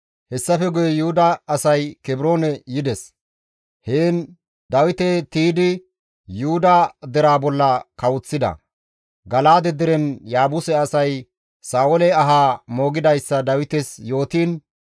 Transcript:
Hessafe guye Yuhuda asay Kebroone yides. Heen Dawite tiydi Yuhuda deraa bolla kawoththida. Gala7aade deren Yaabuse asay Sa7oole ahaa moogidayssa Dawites yootiin,